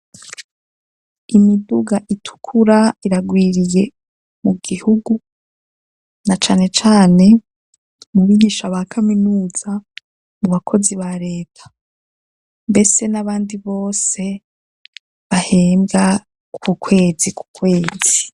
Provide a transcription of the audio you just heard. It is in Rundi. Imiduga itukura iragwiriye mu gihugu, na cane cane mu bigisha ba kaminuza, mu bakozi ba reta, mbese n'abandi bose bahembwa ku kwezi ku kwezi.